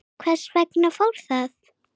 Hvers vegna fór það?